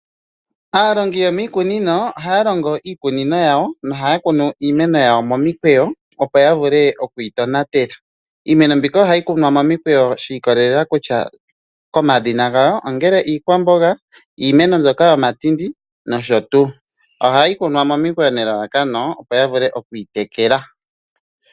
Aalongi yomiikunino ohaya longo miikunino yawo nohaya kunu iimeno yawo mimikweyo, opo yavule okuyi tonatela. Iimeno mbika ohayi kunwa momikweyo shiikolela komadhina gawo, ongele iikwamboga, iimeno mbyoka yomatindi nosho tuu. Ohayi kunwa momikweyo nelalakano opo yavule okwiitekela.